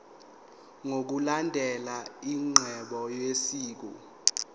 ngokulandela inqubo yosiko